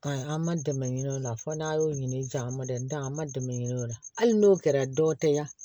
Ayi an ma dɛmɛ ɲini o la fo n'a y'o ɲini ja ma dɛ an ma dɛmɛ ɲini o la hali n'o kɛra dɔ tɛ yan